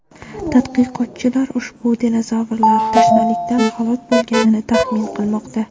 Tadqiqotchilar ushbu dinozavrlar tashnalikdan halok bo‘lganini taxmin qilmoqda.